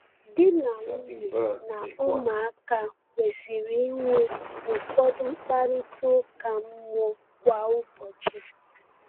Di na nwunye na ụmụaka kwesịrị inwe ụfọdụ mkparịta ụka mmụọ kwa ụbọchị.